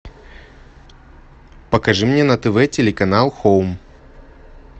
покажи мне на тв телеканал хоум